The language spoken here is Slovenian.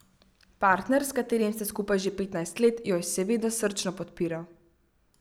Partner, s katerim sta skupaj že petnajst let, jo je seveda srčno podpiral.